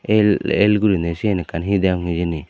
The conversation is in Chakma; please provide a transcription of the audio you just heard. el el gurinei siyen ekkan hi deyong hijeni.